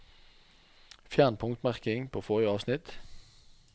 Fjern punktmerking på forrige avsnitt